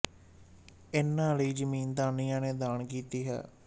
ਇਨ੍ਹਾਂ ਲਈ ਜ਼ਮੀਨ ਦਾਨੀਆਂ ਨੇ ਦਾਨ ਕੀਤੀ ਹੈ